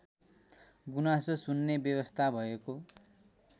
गुनासो सुन्ने व्यवस्था भएको